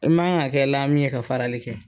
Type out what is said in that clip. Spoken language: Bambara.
I man ka kɛ lami ye ka farali kɛ.